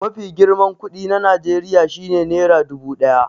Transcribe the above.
Mafi girman kuɗi na Najeriya shi ne nera dubu ɗaya.